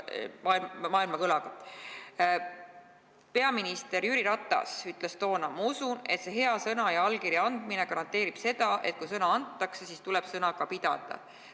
Peaminister Jüri Ratas ütles toona: "Ma usun, et see hea sõna ja allkirja andmine garanteerib selle, et kui sõna antakse, siis tuleb sõna ka pidada.